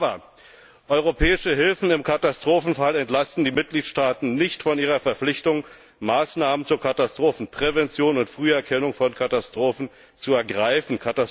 Aber europäische Hilfen im Katastrophenfall entlasten die Mitgliedstaaten nicht von ihrer Verpflichtung, Maßnahmen zur Katastrophenprävention und Früherkennung von Katastrophen zu ergreifen.